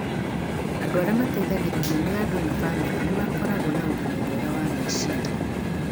Andũ arĩa mateithagĩrĩrio nĩ andũ na bamĩrĩ nĩ makoragwo na ũgima mwega wa meciria